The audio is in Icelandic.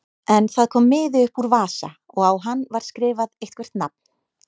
En það kom miði upp úr vasa og á hann var skrifað eitthvert nafn.